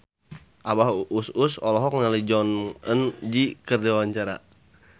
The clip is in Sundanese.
Abah Us Us olohok ningali Jong Eun Ji keur diwawancara